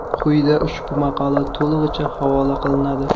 Quyida ushbu maqola to‘lig‘icha havola qilinadi.